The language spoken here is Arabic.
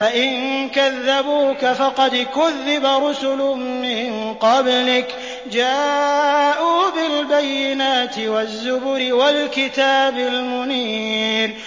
فَإِن كَذَّبُوكَ فَقَدْ كُذِّبَ رُسُلٌ مِّن قَبْلِكَ جَاءُوا بِالْبَيِّنَاتِ وَالزُّبُرِ وَالْكِتَابِ الْمُنِيرِ